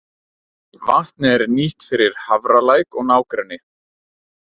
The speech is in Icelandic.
Vatnið er nýtt fyrir Hafralæk og nágrenni.